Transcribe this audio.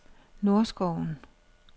Nordskoven